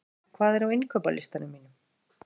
Krumma, hvað er á innkaupalistanum mínum?